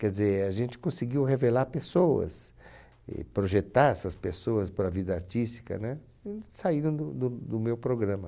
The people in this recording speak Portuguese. Quer dizer, a gente conseguiu revelar pessoas, projetar essas pessoas para a vida artística, né, e saíram do do do meu programa.